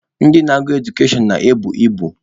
Ndị na-agụ Edukashọn na-ebu ibu.